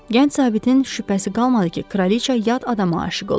Gənc zabitin şübhəsi qalmadı ki, kraliça yad adama aşiq olub.